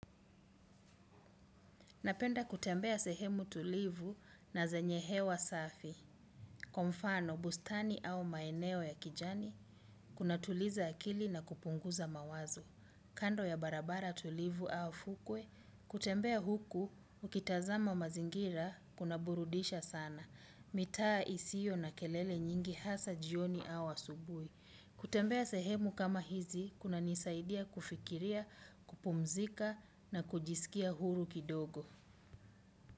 Napenda kutembea sehemu tulivu na zenye hewa safi. Kwa mfano, bustani au maeneo ya kijani, kuna tuliza akili na kupunguza mawazo. Kando ya barabara tulivu au fukwe, kutembea huku, ukitazama mazingira, kuna burudisha sana. Mitaa isio na kelele nyingi hasa jioni au asubui. Kutembea sehemu kama hizi, kuna nisaidia kufikiria, kupumzika na kujisikia huru kidogo.